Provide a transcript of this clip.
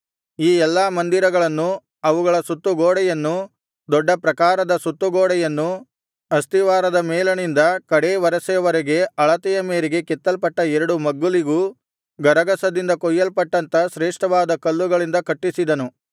ಈ ಎಲ್ಲಾ ಮಂದಿರಗಳನ್ನೂ ಅವುಗಳ ಸುತ್ತು ಗೋಡೆಯನ್ನೂ ದೊಡ್ಡ ಪ್ರಾಕಾರದ ಸುತ್ತು ಗೋಡೆಯನ್ನೂ ಅಸ್ತಿವಾರದ ಮೇಲಣಿಂದ ಕಡೇ ವರಸೆಯವರೆಗೆ ಅಳತೆಯ ಮೇರೆಗೆ ಕೆತ್ತಲ್ಪಟ್ಟ ಎರಡು ಮಗ್ಗುಲಿಗೂ ಗರಗಸದಿಂದ ಕೊಯ್ಯಲ್ಪಟ್ಟಂಥ ಶ್ರೇಷ್ಠವಾದ ಕಲ್ಲುಗಳಿಂದ ಕಟ್ಟಿಸಿದನು